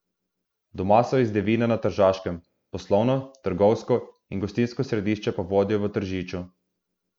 Doma so iz Devina na Tržaškem, poslovno, trgovsko in gostinsko središče pa vodijo v Tržiču.